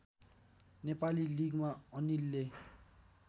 नेपाली लिगमा अनिलले